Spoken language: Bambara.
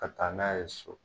Ka taa n'a ye so.